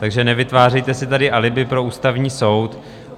Takže nevytvářejte si tady alibi pro Ústavní soud.